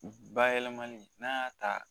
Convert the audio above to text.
Bayɛlɛlamali n'a y'a ta